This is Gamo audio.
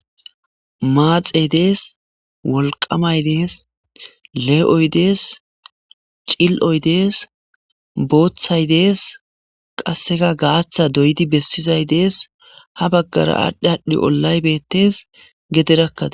maaxey dees wolqamay dees lee'oy dees cil'oy dees booththay dees qasseka gaaththa doyidi bessizay dees ha baggara aadhdhi aadhdhi ollay betees gederakkada